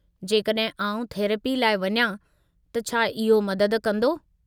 जेकड॒हिं आउं थेरेपी लाइ वञां त छा इहो मदद कंदो?